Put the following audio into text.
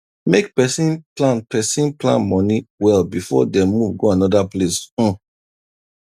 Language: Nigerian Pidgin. make person plan person plan money well before dem move go another place um